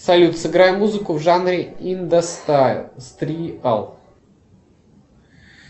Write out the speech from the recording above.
салют сыграй музыку в жанре индастриал